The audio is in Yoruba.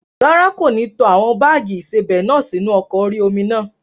Rárá, kò ní tó àwọn báàgì ìsebẹ̀ náà sórí ọkọ̀ orí-omi náà